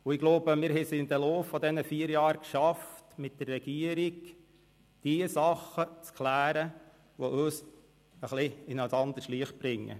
Ich glaube, wir haben es im Verlauf dieser vier Jahre geschafft, mit der Regierung Dinge zu klären und diese in ein anderes Licht zu rücken.